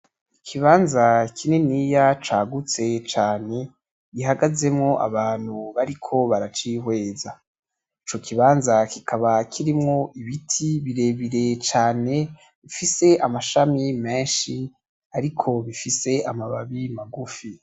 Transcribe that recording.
Ikibanza kininiya cagutse cane, gihagazemo abantu bariko baracihweza. Ico kibanza kikaba kirimo ibiti birebire cane gifise amashami menshi ariko gifise amababi magufi.